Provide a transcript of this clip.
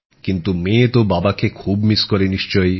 কিন্তু মেয়ে তো বাবাকে খুব মিস করে নিশ্চয়ই